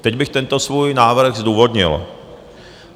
Teď bych tento svůj návrh zdůvodnil.